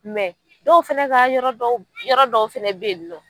Mɛ dɔw fana ka yɔrɔ dɔw yɔrɔ dɔw fana bɛ yen nɔ